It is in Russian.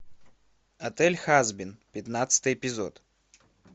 отель хазбин пятнадцатый эпизод